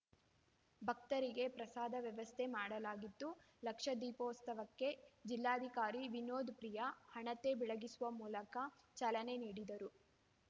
ಭಕ್ತರಿಗೆ ಪ್ರಸಾದ ವ್ಯವಸ್ಥೆಯನ್ನು ಮಾಡಲಾಗಿತ್ತು ಲಕ್ಷದೀಪೋತ್ಸವಕ್ಕೆ ಜಿಲ್ಲಾಧಿಕಾರಿ ವಿನೋತ್‌ಪ್ರಿಯ ಹಣತೆ ಬೆಳಗಿಸುವ ಮೂಲಕ ಚಾಲನೆ ನೀಡಿದರು